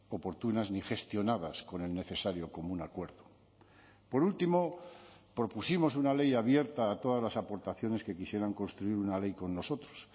oportunas ni gestionadas con el necesario común acuerdo por último propusimos una ley abierta a todas las aportaciones que quisieran construir una ley con nosotros